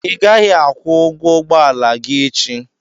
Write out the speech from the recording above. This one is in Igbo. I ga-akwụ ụgwọ ụgbọala gị echi!